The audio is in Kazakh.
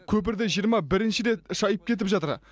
көпірді жиырма бірінші рет шайып кетіп жатыр